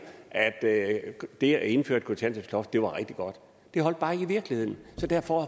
at det det at indføre et kontanthjælpsloft var rigtig godt det holdt bare ikke i virkeligheden så derfor